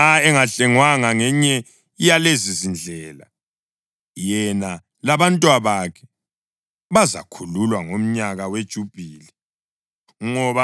Nxa engahlengwanga ngenye yalezizindlela, yena labantwabakhe bazakhululwa ngomnyaka weJubhili,